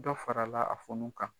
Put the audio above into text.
Dɔ farala a funu kan.